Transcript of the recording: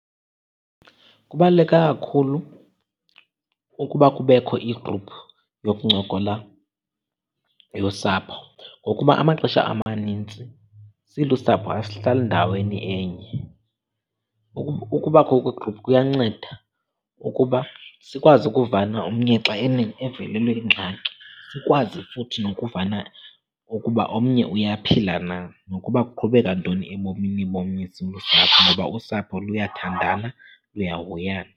Kubaluleke kakhulu ukuba kubekho igruphu yokuncokola yosapho, ngokuba amaxesha amanintsi silusapho asihlali ndaweni enye. Ukubakho kwegruphu kuyanceda ukuba sikwazi ukuvana omnye xa evelelwe yingxaki, sikwazi futhi nokuvana ukuba omnye uyaphila na, nokuba kuqhubeka ntoni ebomini bomnye silusapho. Ngoba usapho luyathandana, luyahoyana.